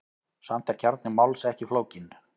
Samt er kjarni máls ekki flókinn.